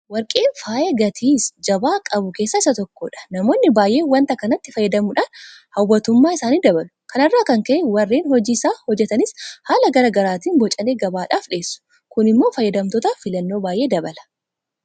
Warqeen faaya gatii jabaa qabu keessaa isa tokkodha. Namoonni baay'een waanta kanatti fayyadamuudhaan hawwattummaa isaanii dabalu. Kana irraa kan ka'e warreen hojii isaa hojjetanis haala garaa garaatiin bocanii gabaadhaaf dhiyeessu. Kun immoo fayyadamtootaaf filannoo baay'ee dabala.